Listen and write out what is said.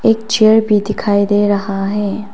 एक चेयर भी दिखाई दे रहा है।